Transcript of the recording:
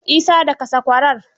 Isa, daka sakwarar.